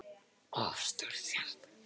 of stórt hjarta